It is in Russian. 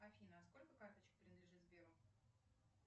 афина сколько карточек принадлежит сберу